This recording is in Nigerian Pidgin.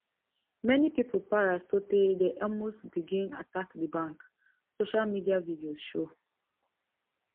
many pipo para sotay dem almost begin attack di bank social media videos show